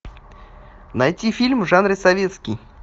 найти фильм в жанре советский